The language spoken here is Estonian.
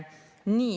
Nii.